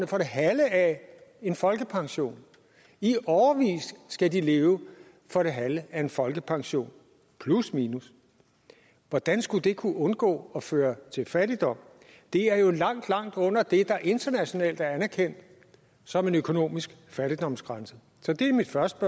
for det halve af en folkepension i årevis skal de leve for det halve af en folkepension plusminus hvordan skulle det kunne undgå at føre til fattigdom det er jo langt langt under det der internationalt er anerkendt som en økonomisk fattigdomsgrænse så det er mit første